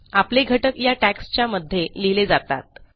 आपले घटक या tagsच्या मध्ये लिहिले जातात